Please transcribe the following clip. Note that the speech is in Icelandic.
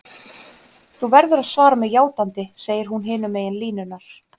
Þú verður að svara mér játandi, segir hún hinum megin línunnar.